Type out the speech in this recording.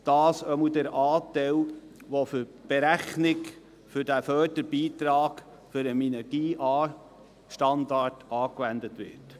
dies jedenfalls der Anteil, der für die Berechnung für den Förderbeitrag für den Minergie-AStandard angewandt wird.